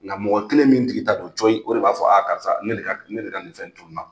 Nka mɔgɔ kelen min tigi ta don cɔyi o de b'a fɔ a karisa ne de ka nin fɛn in tununa.